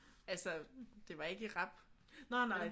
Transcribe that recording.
Altså det var ikke i rap vel?